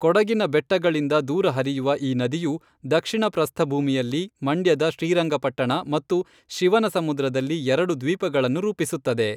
ಕೊಡಗಿನ ಬೆಟ್ಟಗಳಿಂದ ದೂರ ಹರಿಯುವ ಈ ನದಿಯು ದಕ್ಷಿಣ ಪ್ರಸ್ಥಭೂಮಿಯಲ್ಲಿ ಮಂಡ್ಯದ ಶ್ರೀರಂಗಪಟ್ಟಣ ಮತ್ತು ಶಿವನಸಮುದ್ರದಲ್ಲಿ ಎರಡು ದ್ವೀಪಗಳನ್ನು ರೂಪಿಸುತ್ತದೆ.